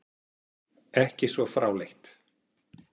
Ekki svo fráleitt!